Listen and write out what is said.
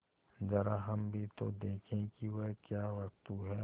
जरा हम भी तो देखें कि वह क्या वस्तु है